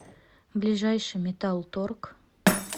ближайший металл торг